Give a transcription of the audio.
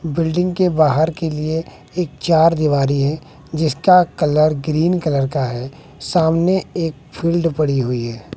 Building के बाहर के लिए एक चार दिवारी है जिसका कलर ग्रीन कलर का है सामने एक फील्ड पड़ी हुई है।